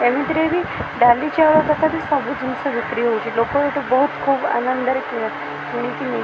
ଏମିତିରେ ବି ଡାଲି ଚାଉଳ ତକାତେ ସବୁ ଜିନିଷ ବିକ୍ରି ହଉଚି ଲୋକ ଏଠୁ ବହୁତ ଖୁବ ଆନନ୍ଦରେ କିଣା କିଣିକି ନେଇ --